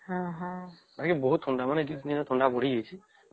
ହଁ ହଁ ଆଉ ଏଠି ବହୁତ ଥଣ୍ଡା ଆଉ ଦିନରେ ଥଣ୍ଡା ବଢି ଯାଇଛେ